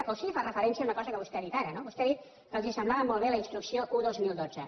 o sí que fa referència a una cosa que vostè ha dit ara no vostè ha dit que els semblava molt bé la instrucció un dos mil dotze